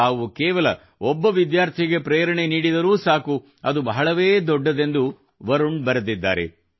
ತಾವು ಕೇವಲ ಒಬ್ಬ ವಿದ್ಯಾರ್ಥಿಗೆ ಪ್ರೇರಣೆ ನೀಡಿದರೂ ಸಾಕು ಅದು ಬಹಳವೇ ದೊಡ್ಡದೆಂದು ವರುಣ್ ಬರೆದಿದ್ದಾರೆ